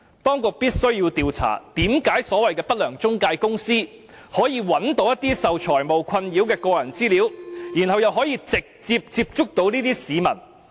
當局必須調查，為甚麼不良中介公司可以找到受財務困擾的市民的個人資料，然後又可以直接接觸這些市民。